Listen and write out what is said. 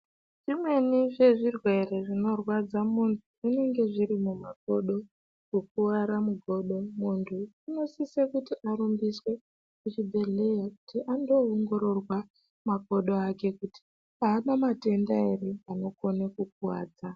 Imweni zvezvirwere zvinorwadza muntu zvinenge zviri mumakodo kukuwara mugodo muntu unosise kuti arumbiswe kuchibhedhleya kuti andoongororwa makodo ake kuti aana matenda ere anokono kukuwadza.